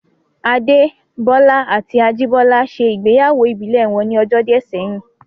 Adé Bọ́lá àti Ajìbọ́lá ṣe ìgbéyàwó ìbílẹ̀ wọn ní ọjọ́ díẹ̀ sẹ́yìn